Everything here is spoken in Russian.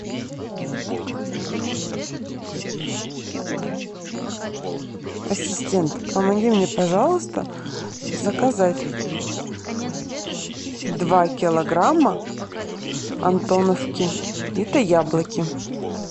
ассистент помоги мне пожалуйста заказать два килограмма антоновки это яблоки